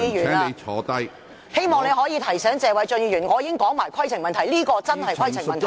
主席，我希望你提醒謝偉俊議員，這確實是規程問題。